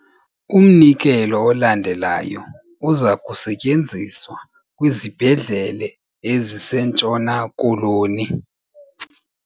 Umnikelo olandelayo uza kusetyenziswa kwizibhedlele eziseNtshona Koloni.